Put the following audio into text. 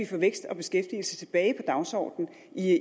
få vækst og beskæftigelse tilbage på dagsordenen